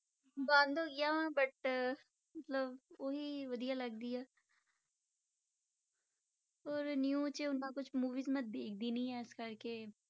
ਬੰਦ ਹੋ ਗਈਆਂ ਹੁਣ but ਮਤਲਬ ਉਹੀ ਵਧੀਆ ਲੱਗਦੀ ਆ ਔਰ new 'ਚ ਇੰਨਾ ਕੁਛ movies ਮੈਂ ਦੇਖਦੀ ਨਹੀਂ ਹਾਂ ਇਸ ਕਰਕੇ,